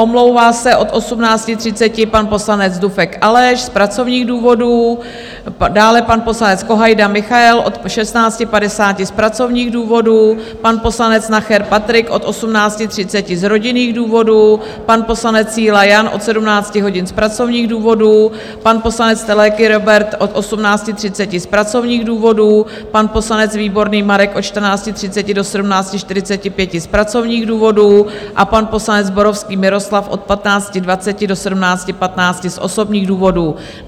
Omlouvá se od 18.30 pan poslanec Dufek Aleš z pracovních důvodů, dále pan poslanec Kohajda Michael od 16.50 z pracovních důvodů, pan poslanec Nacher Patrik od 18.30 z rodinných důvodů, pan poslanec Síla Jan od 17 hodin z pracovních důvodů, pan poslanec Teleky Róbert od 18.30 z pracovních důvodů, pan poslanec Výborný Marek od 14.30 do 17.45 z pracovních důvodů a pan poslanec Zborovský Miroslav od 15.20 do 17.15 z osobních důvodů.